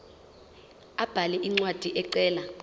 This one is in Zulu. abhale incwadi ecela